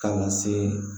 Kalansen